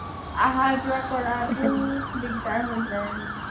আহা যোৱা কৰাটো দিগদাৰ হয় যাই